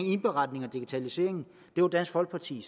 indberetning og digitalisering og det var dansk folkeparti